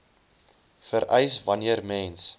vereis wanneer mens